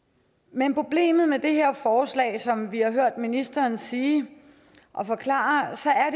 men problemet med det her forslag er som vi har hørt ministeren sige og forklare